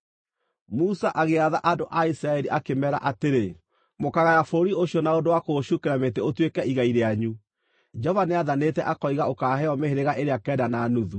Musa agĩatha andũ a Isiraeli, akĩmeera atĩrĩ: “Mũkaagaya bũrũri ũcio na ũndũ wa kũũcukĩra mĩtĩ ũtuĩke igai rĩanyu Jehova nĩathanĩte akoiga ũkaaheeo mĩhĩrĩga ĩrĩa kenda na nuthu,